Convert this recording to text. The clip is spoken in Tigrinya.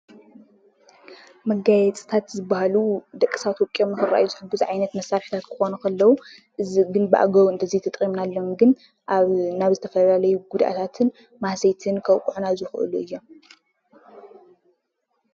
መጋየፅታት ዝበሃሉ ደቂ ሰባት ወቂቦም ንክረአዩ ዝሕግዙ መሳርሕታት ክኾኑ ከለው እዙይ ግን ብአግባቡ እንተዘይተጠቂምናሉ ግን አብ ናብ ዝተፈላለዩ ጉድኣትን ማህሰይትን ከብቅዑና ዝኽእሉ እዮም።